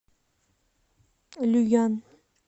люян